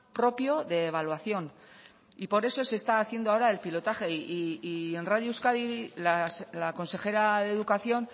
propio de evaluación y por eso se está haciendo ahora el pilotaje y en radio euskadi la consejera de educación